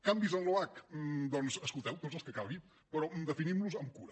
canvis en l’oac doncs escolteu tots els que calgui però definim los amb cura